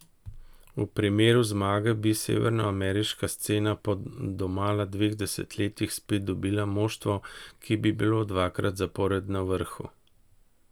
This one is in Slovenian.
V primeru zmage bi severnoameriška scena po domala dveh desetletjih spet dobila moštvo, ki bi bilo dvakrat zapored na vrhu.